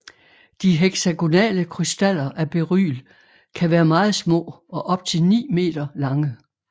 De heksagonale krystaller af beryl kan være meget små og op til ni meter lange